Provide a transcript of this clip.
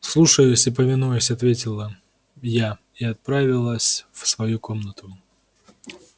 слушаюсь и повинуюсь ответила я и отправилась в свою комнату